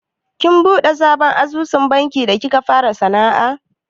Kin buɗe sabon asusun banki da kika fara sana'a?